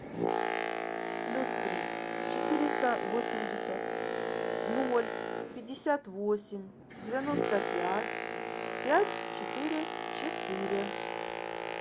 плюс три четыреста восемьдесят ноль пятьдесят восемь девяносто пять пять четыре четыре